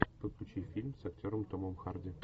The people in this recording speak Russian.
подключи фильм с актером томом харди